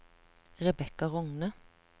Rebekka Rogne